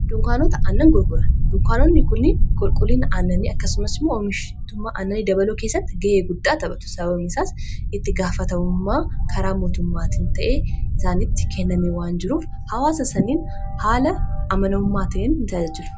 dunkaanota annan gulgora dunkaanonni kunni qulquliin aananii akkasumas moo oomishittummaa annani dabaloo keessatti ga'ee guddaa taphatu sabameisaas itti gaafatamummaa karaa mootummaatiin ta'ee isaaniitti kennamii waan jiruuf hawaasa saniin haala amanamummaa ta'ein in taajajiru